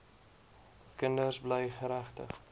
kinders bly geregtig